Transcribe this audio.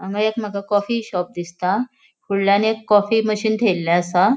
हांगा एक coffee shop दिसता फुडल्यान एक कॉफी मशीन थेयल्ले आसा.